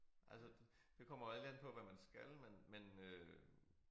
Altså det kommer jo alt an på hvad man skal men men øh